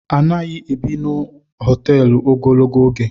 Anaghị ebi n'hoteelu ogologo oge